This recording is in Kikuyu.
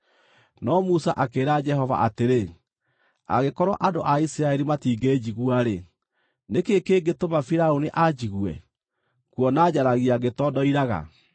No Musa akĩĩra Jehova atĩrĩ, “Angĩkorwo andũ a Isiraeli matingĩnjigua-rĩ, nĩkĩ kĩngĩtũma Firaũni anjigue, kuona njaragia ngĩtondoiraga?”